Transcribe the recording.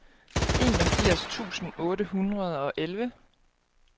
enogfirs tusind otte hundrede og elleve